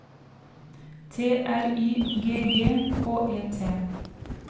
T R Y G G H E T